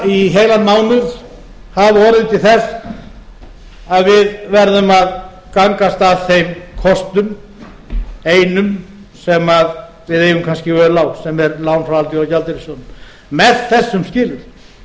í heilan mánuð hafi orðið til þess að við verðum að gangast að þeim kostum einum sem við eigum kannski völ á sem er lán frá alþjóðagjaldeyrissjóðnum með þessum skilyrðum ég vil bara